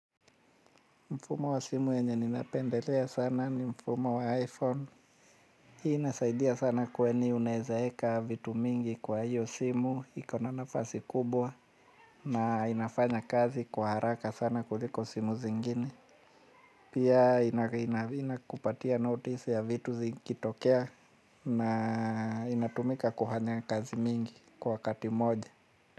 Mfumo wa simu yenye ninapendelea sana ni mfumo wa iPhone. Hii inasaidia sana kwani unaweza weka vitu mingi kwa hiyo simu iko na nafasi kubwa na inafanya kazi kwa haraka sana kuliko simu zingine. Pia inakupatia notice ya vitu zikitokea na inatumika kufanya kazi mingi kwa wakati mmoja.